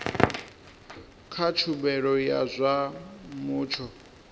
kha tshumelo ya zwa mutsho